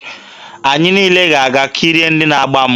Anyị niile ga-aga kirie ndị na-agba mgba.